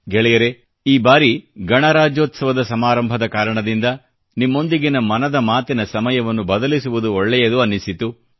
ಗೆಳೆಯರೇ ಈ ಬಾರಿ ಗಣರಾಜ್ಯೋತ್ಸವದ ಸಮಾರಂಭದ ಕಾರಣದಿಂದ ನಿಮ್ಮೊಂದಿಗಿನ ಮನದ ಮಾತಿನ ಸಮಯವನ್ನು ಬದಲಿಸುವುದು ಒಳ್ಳೆಯದು ಅನ್ನಿಸಿತು